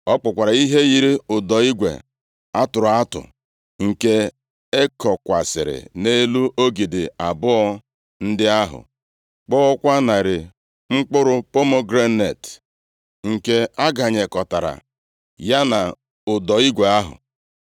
Ọ kpụkwara ihe yiri ụdọ igwe a tụrụ atụ, nke e kokwasịrị nʼelu ogidi abụọ ndị ahụ. Kpụọkwa narị mkpụrụ pomegranet, nke a ganyekọtara ya na ụdọ igwe ahụ.